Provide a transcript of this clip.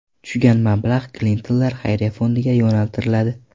Tushgan mablag‘ Klintonlar Xayriya fondiga yo‘naltiriladi.